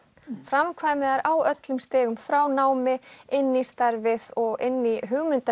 framkvæmi þær á öllum stigum frá námi inn í starfið og inn í